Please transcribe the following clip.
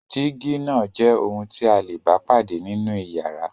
Dígí náà jẹ́ ohun tí a le bá pàdé nínú ìyàrá.